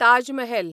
Taj Mahal